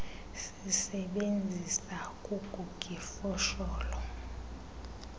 sisebenzisa kugug ifosholo